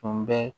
Tun bɛ